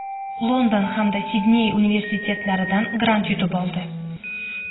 London hamda Sidney universitetlaridan grant yutib oldi.